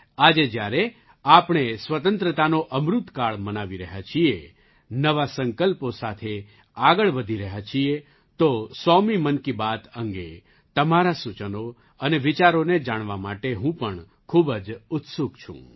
આજે જ્યારે આપણે સ્વતંત્રતાનો અમૃત કાળ મનાવી રહ્યા છીએ નવા સંકલ્પો સાથે આગળ વધી રહ્યા છીએ તો સોમી 100મા મન કી બાત અંગે તમારાં સૂચનો અને વિચારોને જાણવા માટે હું પણ ખૂબ જ ઉત્સુક છું